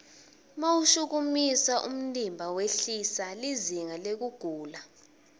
mawushukumisa umtimba wehlisa lizinga lekugula